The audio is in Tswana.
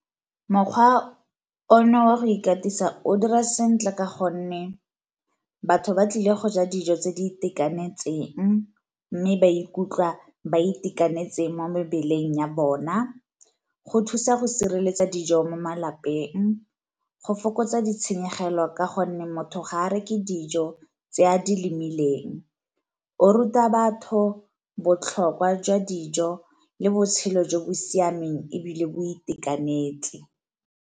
Mokgwa ono wa go ikatisa o dira sentle ka gonne batho ba tlile go ja dijo tse di itekanetseng, mme ba ikutlwa ba itekanetse mo mebeleng ya bona, go thusa go sireletsa dijo mo malapeng, go fokotsa ditshenyegelo ka gonne motho ga a re ke dijo tse a di lemileng, o ruta batho botlhokwa jwa dijo le botshelo jo bo siameng ebile bo itekanetse.